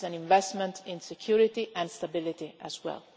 This is an investment in security and stability as well.